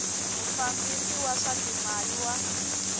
mufambisi wa swa timali wa